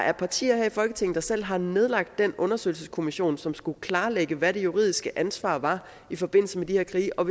er partier her i folketinget der selv har nedlagt den undersøgelseskommission som skulle klarlægge hvad det juridiske ansvar var i forbindelse med de her krige og